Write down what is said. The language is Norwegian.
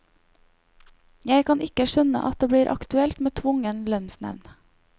Jeg kan ikke skjønne at det blir aktuelt med tvungen lønnsnevnd.